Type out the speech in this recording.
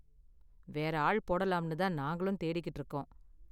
வேற ஆள் போடலாம்னு தான் நாங்களும் தேடிக்கிட்டு இருக்கோம்